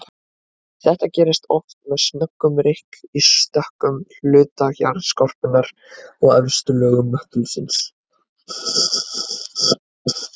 Þetta gerist oft með snöggum rykk í stökkum hluta jarðskorpunnar og efstu lögum möttulsins.